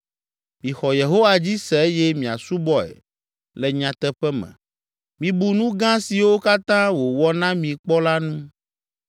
Mixɔ Yehowa dzi se eye miasubɔe le nyateƒe me. Mibu nu gã siwo katã wòwɔ na mi kpɔ la ŋu.